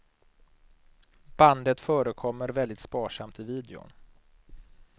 Bandet förekommer väldigt sparsamt i videon.